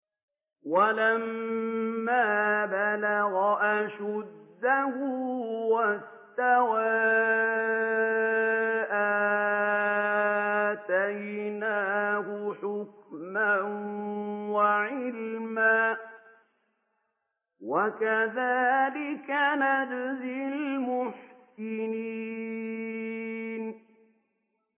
وَلَمَّا بَلَغَ أَشُدَّهُ وَاسْتَوَىٰ آتَيْنَاهُ حُكْمًا وَعِلْمًا ۚ وَكَذَٰلِكَ نَجْزِي الْمُحْسِنِينَ